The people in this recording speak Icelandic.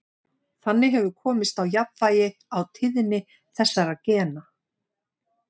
Þannig hefur komist á jafnvægi á tíðni þessara gena.